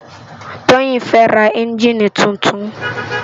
Toyin fè rá ènjini tútún